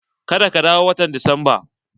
Ka da ka dawo watan disamba!